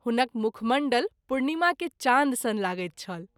हुनक मुखमण्डल पूर्णिमा के चान्द सन लगैत छल।